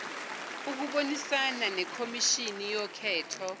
ukubonisana nekhomishini yokhetho